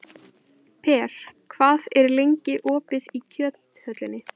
Per, hvað er lengi opið í Kjöthöllinni?